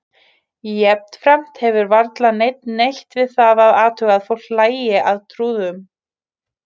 Jafnframt hefur varla neinn neitt við það að athuga að fólk hlæi að trúðum.